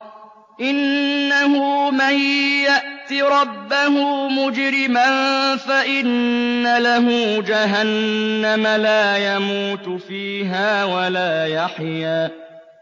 إِنَّهُ مَن يَأْتِ رَبَّهُ مُجْرِمًا فَإِنَّ لَهُ جَهَنَّمَ لَا يَمُوتُ فِيهَا وَلَا يَحْيَىٰ